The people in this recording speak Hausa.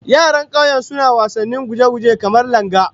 Yaran kauye suna wasannin guje-guje, kamar langa